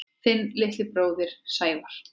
Þinn litli bróðir, Sævar.